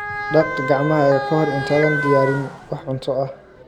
Dhaq gacmahaaga ka hor intaadan diyaarin wax cunto ah.